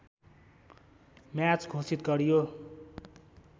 match घोषित गरियो